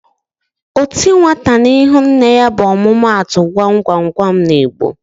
"O ti nwata n'ihu nne ya" bụ omumatu Gwa m gwa m gwa m n'Igbo